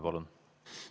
Palun!